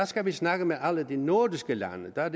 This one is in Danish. skal vi snakke med alle de nordiske lande og der er